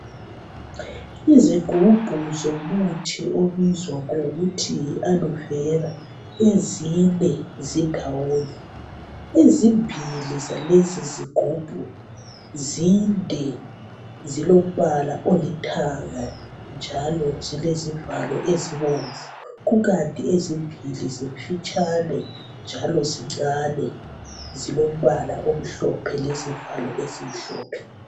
Izigubhu somuthi ibizo ngokuthi yi Alovera ezine zindawonye ezimbili zalezizigubhu zinde zilombala olithanga njalo zilezivalo ezibomvu kukanti ezimbili zimfitshane njalo zincane zilombala omhlophe lesivalo ezimhlophe